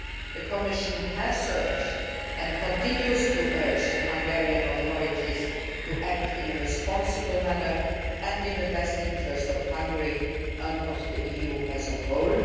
respected. The Commission has urged, and continues to urge, the Hungarian authorities to act in a responsible manner and in the best interest of Hungary and of the EU